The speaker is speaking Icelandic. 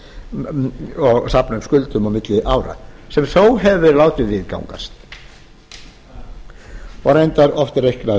að safna upp skuldum á milli ára sem þó hefur verið látið viðgangast og reyndar oft reiknað